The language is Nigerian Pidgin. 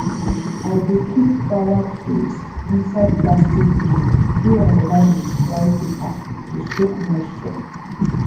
i dey keep power tools inside plastic bin wey i line with dry paper to soak moisture